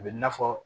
A bɛ na fɔ